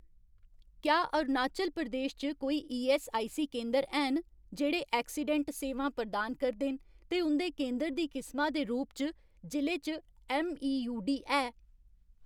क्या अरुणाचल प्रदेश च कोई ईऐस्सआईसी केंदर हैन जेह्ड़े ऐक्सीडैंट सेवां प्रदान करदे न ते उं'दे केंदर दी किसमा दे रूप च जि'ले च ऐम्मईयूडी है ?